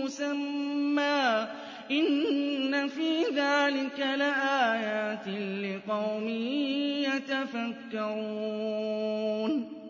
مُّسَمًّى ۚ إِنَّ فِي ذَٰلِكَ لَآيَاتٍ لِّقَوْمٍ يَتَفَكَّرُونَ